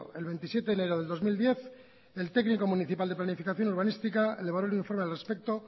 el veintisiete de enero del dos mil diez el técnico municipal de planificación urbanística valoró el informe al respecto